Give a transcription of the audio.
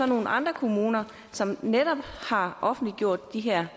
nogle andre kommuner som netop har offentliggjort de her